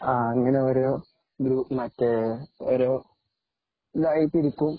അങ്ങനെ ഒരുമറ്റേ ഒരു ഇതായിട്ടിരികും